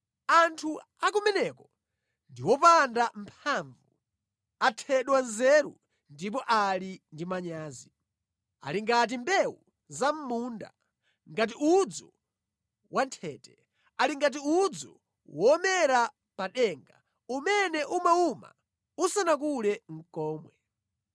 Anthu a kumeneko ndi opanda mphamvu, athedwa nzeru ndipo ali ndi manyazi. Ali ngati mbewu za mʼmunda, ngati udzu wanthete, ali ngati udzu womera pa denga, umene umawuma usanakule nʼkomwe.’ ”